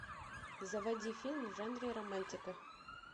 заводи фильм в жанре романтика